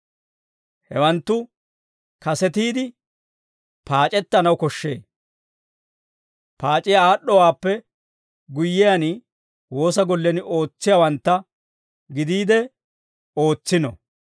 Hewanttu kasetiide paac'ettanaw koshshee. Paac'iyaa aad'd'owaappe guyyiyaan, woosa gollen ootsiyaawantta gidiide ootsino.